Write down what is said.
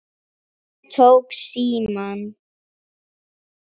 Ég tók símann.